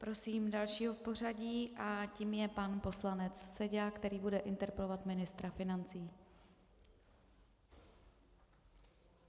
Prosím dalšího v pořadí a tím je pan poslanec Seďa, který bude interpelovat ministra financí.